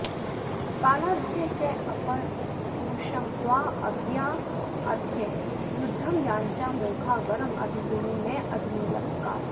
कालाद्याचेपरमपुरुषं त्वाऽभियायाऽद्य युद्धं याच्ञा मोघा वरमधिगुणे नाधमे लब्धकामा